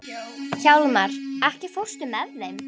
Hjálmar, ekki fórstu með þeim?